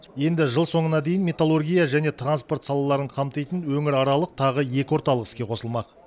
енді жыл соңына дейін металлургия және транспорт салаларын қамтитын өңіраралық тағы екі орталық іске қосылмақ